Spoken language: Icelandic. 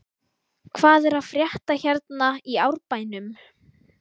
Hvað er að frétta hérna í Árbænum?